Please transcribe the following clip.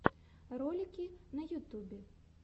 ролики на ютубе